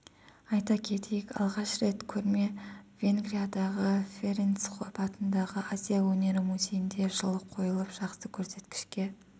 айта кетейік алғаш рет көрме венгриядағы ференц хопп атындағы азия өнері музейінде жылы қойылып жақсы көрсеткішке